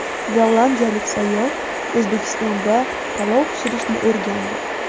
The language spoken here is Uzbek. Gollandiyalik sayyoh O‘zbekistonda palov pishirishni o‘rgandi.